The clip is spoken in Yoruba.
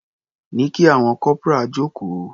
Ní kí àwọn corporal jókòó.